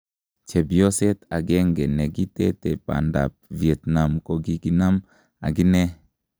chepyoseet agenge negitete pandap Vietnam ko koginam aginee